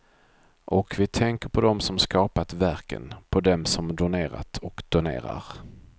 Och vi tänker på dem som skapat verken, på dem som donerat och donerar.